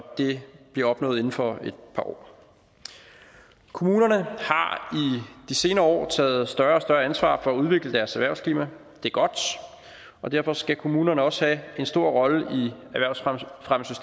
det bliver opnået inden for et par år kommunerne har de senere år taget større ansvar for at udvikle deres erhvervsklima og det er godt og derfor skal kommunerne også have en stor rolle